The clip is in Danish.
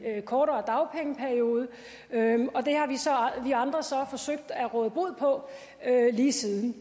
kortere dagpengeperiode og vi andre så forsøgt at råde bod på lige siden